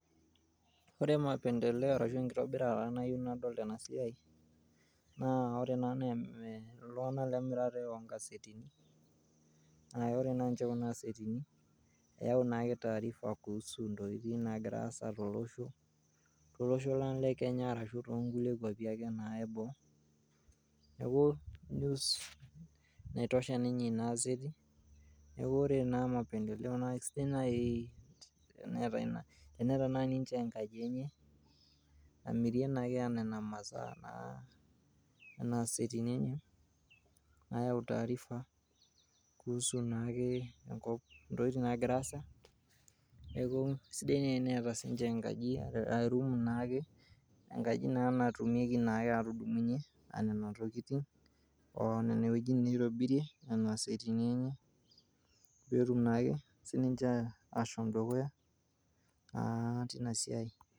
Ore mapendeleo arashu enkitobirata nayieu nadol tena siai naa ore ena naa iltunganak le emirata oo nkasetini. Naa ore naa ake kuna asetini eyau naa ake taarifa kuhusu ntokitin nagira aasa tolosho lang le Kenya arashu nkulie kwapi ake . Niaku news ninye naitosha Ina aseti